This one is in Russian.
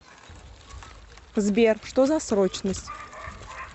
сбер что за срочность